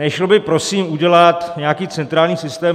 Nešlo by prosím udělat nějaký centrální systém?